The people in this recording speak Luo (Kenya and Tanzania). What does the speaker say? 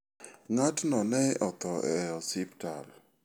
Ng'atno ne otho e osiptal.